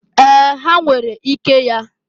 Ee! Ha nwere ike ya.